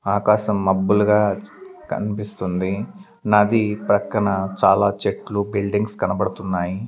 ఆకాశం మబ్బులు గా కన్పిస్తుంది నది ప్రక్కన చాలా చెట్లు బిల్డింగ్స్ కనబడుతున్నాయి.